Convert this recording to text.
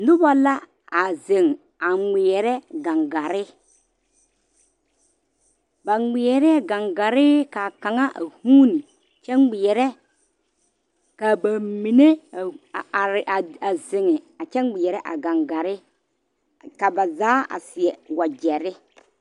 Noba la a zeŋ a ŋmeɛrɛ gaŋgaare ba ŋmeɛrɛ gaŋgaare kaa kaŋa a vuune kyɛ ŋmeɛrɛ kaa ba mine a are a zeŋ a kyɛ ŋmeɛrɛ a gaŋgaare ka ba zaa a seɛ wagyere.